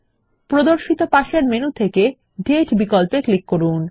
প্রদর্শিত পাশের মেনু থেকে দাতে বিকল্পে ক্লিক করুন